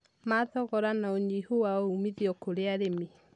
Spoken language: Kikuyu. ma thogora na ũnyihu wa uumithio kũrĩ arĩmi.